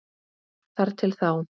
Þar til þá.